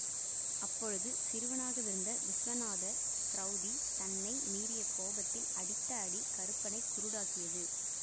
அப்பொழுது சிறுவனாகவிருந்த விஸ்வநாத ச்ரௌதி தன்னை மீறிய கோபத்தில் அடித்த அடி கருப்பனைக் குருடாக்கியது